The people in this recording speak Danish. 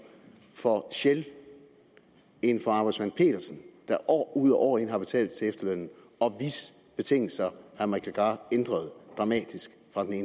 for shell end for arbejdsmand petersen der år ud og år ind har betalt til efterlønnen og hvis betingelser herre mike legarth ændrede dramatisk